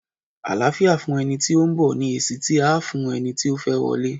Àláfíà fún ẹni tí ó ń bọ̀! ni èsì tí à á fún eni ti ó fẹ́ wọlé.